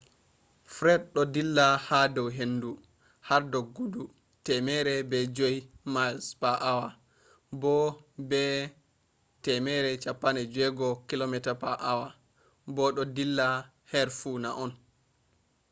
fred do dilla ha dou hendu har doggugo 105 miles per hour bo be 165 km/h bo do dilla her funa on